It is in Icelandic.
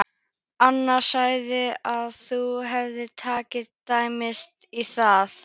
Agnes sagði að þú hefðir tekið dræmt í það.